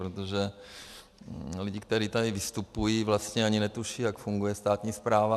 Protože lidi, kteří tady vystupují, vlastně ani netuší, jak funguje státní správa.